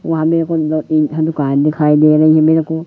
वहां मेरेको दो तीन ठो दुकान दिखाई दे रही है मेरे को--